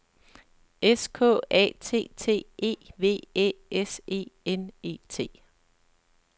S K A T T E V Æ S E N E T